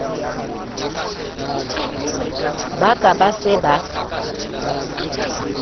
ba ka ba se ba